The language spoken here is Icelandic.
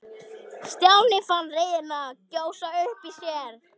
Stjáni fann reiðina gjósa upp í sér.